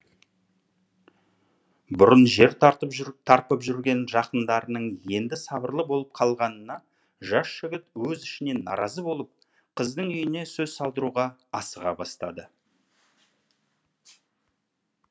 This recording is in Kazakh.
бұрын жер тарпып жүрген жақындарының енді сабырлы болып қалғанына жас жігіт өз ішінен наразы болып қыздың үйіне сөз салдыруға асыға бастады